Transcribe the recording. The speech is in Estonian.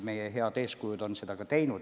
Meie head eeskujud on seda ka teinud.